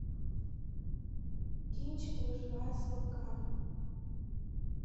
кинчик выживая с волками